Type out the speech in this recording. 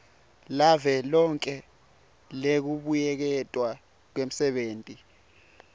lavelonkhe lekubuyeketwa kwemisebenti